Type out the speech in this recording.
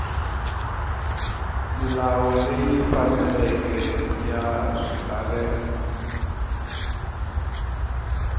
milawu leyi faneleke ya swilaveko